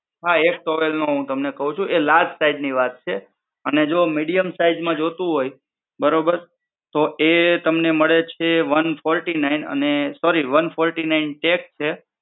હા એક towel નું હું તમને કહું છું એ large ટાઇપ ની વાત છે અને જો medium size માં જોતું હોય બરોબર તો એ તમને મળે છે one forty nine sorry one forty nine check છે.